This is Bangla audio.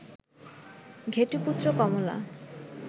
ঘেটুপুত্র কমলা